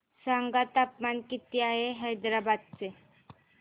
सांगा तापमान किती आहे हैदराबाद चे